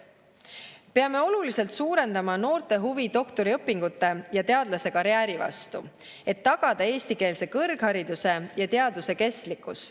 Peame oluliselt suurendama noorte huvi doktoriõpingute ja teadlasekarjääri vastu, et tagada eestikeelse kõrghariduse ja teaduse kestlikkus.